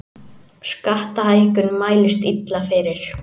Skattahækkun mælist illa fyrir